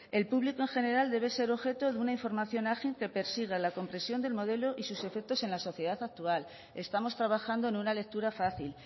el público en general debe ser objeto de una información ágil que persiga la comprensión del modelo y sus efectos en la sociedad actual estamos trabajando en una lectura fácil